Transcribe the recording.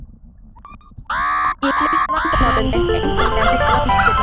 Ég flutti vandamál mitt einfaldlega milli landshluta.